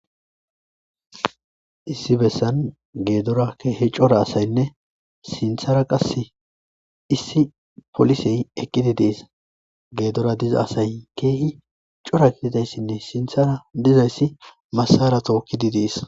issi bessan geedora khi cora asaynne sinthara qasse issi polisey eqqidi dees geedora diza asay keehi cora kididayssinne sinthara dizayssi masara tookkidi dees